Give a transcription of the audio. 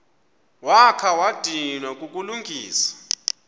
wakha wadinwa kukulungisa